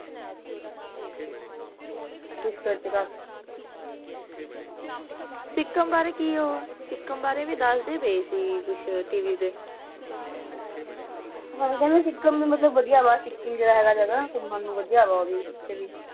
ਉੱਤਰ ਕਿਤਾਬ ਇਕ ਅਮਰੀਕੀ ਆਉਣ ਤੇ ਕਹਾਣੀ ਵੀ ਨਾਲ-ਨਾਲ ਹੀ ਹੁੰਦੀ ਹੈ